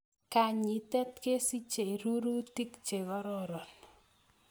Kanyitet kosijei rurutik chekoraron